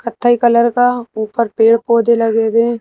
कथाई कलर का ऊपर पेड़-पौधे लगे हुए है।